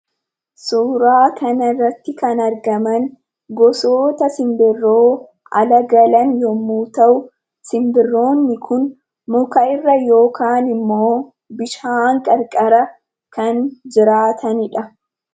Suuraa kana irratti kan argaman gosoota sinbirroo ala galan yeroo ta'u, sinbirroonni kun ammoo muka irra yookaan bishaan qarqara kan jiraatanidha.